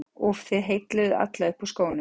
úff, þið heilluðuð alla upp úr skónum.